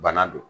Bana don